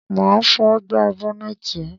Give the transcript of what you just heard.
Má à fọ gbá bọ́nẹ́tì ẹ.